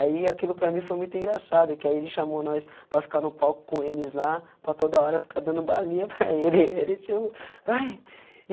Aí, aquilo para mim foi muito engraçado, e que aí ele chamou nós para ficar no palco com eles lá, para toda hora ficar dando balinha para ele... ele tipo, vai